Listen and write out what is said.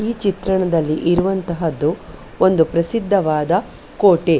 ಈ ಚಿತ್ರಣದಲ್ಲಿ ಇರುವಂತದ್ದು ಒಂದು ಪ್ರಸಿದ್ದವಾದ ಕೋಟೆ .